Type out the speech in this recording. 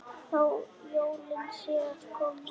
Þó jólin séu að koma.